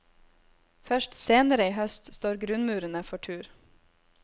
Først senere i høst står grunnmurene for tur.